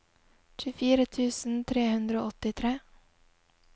tjuefire tusen tre hundre og åttitre